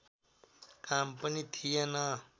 काम पनि थिएन